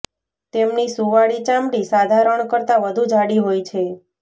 તેમની સુંવાળી ચામડી સાધારણ કરતા વધુ જાડી હોય છે